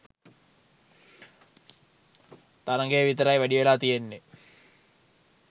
තරගයයි විතරයි වැඩිවෙලා තියෙන්නේ.